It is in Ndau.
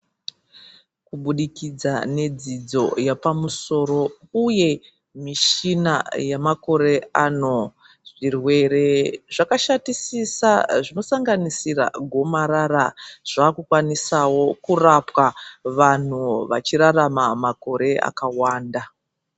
Kubudikidza nedzidzo yapamusoro uye michini yemakore ano zvirwere zvakashatisisa zvinosanganisira gomarara zvakukwanisawo kurapwa vanhu vachirarama makore akawanda .